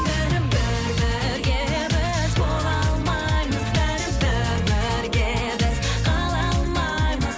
бәрібір бірге біз бола алмаймыз бәрібір бірге біз қала алмаймыз